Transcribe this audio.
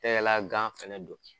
E y'i la gan fana don.